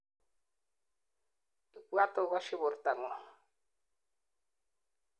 ibwat ogosyi bortangung